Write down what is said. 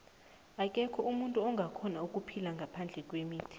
akekho umuntu ongakhona ukuphila ngaphandle kwemithi